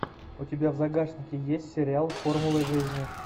у тебя в загашнике есть сериал формулы жизни